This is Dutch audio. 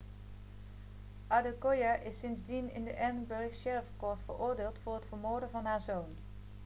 adekoya is sindsdien in de edinburgh sheriff court veroordeeld voor het vermoorden van haar zoon